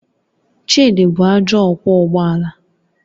Chidi bụ ajọ ọkwọ ụgbọ ala